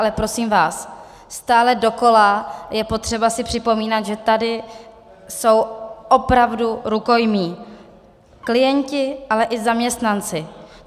Ale prosím vás, stále dokola je potřeba si připomínat, že tady jsou opravdu rukojmí - klienti, ale i zaměstnanci.